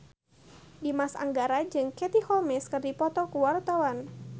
Dimas Anggara jeung Katie Holmes keur dipoto ku wartawan